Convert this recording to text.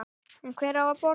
En hver á að borga?